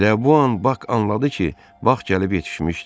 Elə bu an Bak anladı ki, vaxt gəlib yetişmişdi.